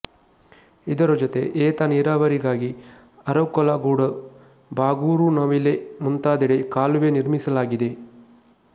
ಇದರ ಜೊತೆ ಏತ ನೀರಾವರಿಗಾಗಿ ಅರಕಲಗೂಡು ಬಾಗೂರುನವಿಲೆ ಮುಂತಾದೆಡೆ ಕಾಲುವೆ ನಿರ್ಮಿಸಲಾಗಿದೆ